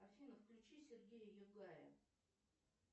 афина включи сергея югая